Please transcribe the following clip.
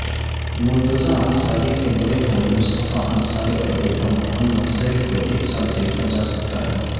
مرتضی انصاری کے بڑے بھائی مصطفے انصاری اور بیٹا محمد زید کو ایک ساتھ دیکھاجاسکتاہے